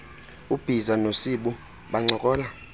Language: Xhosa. ubhiza nosibu bancokola